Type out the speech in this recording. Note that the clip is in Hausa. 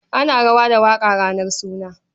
Ana rawa da waƙa ranar suna.